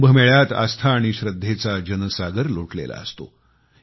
कुंभमेळ्यात आस्था आणि श्रद्धेचा जनसागर लोटलेला असतो